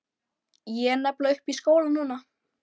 Ég er nefnilega uppi í skóla núna.